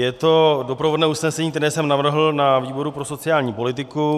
Je to doprovodné usnesení, které jsem navrhl na výboru pro sociální politiku.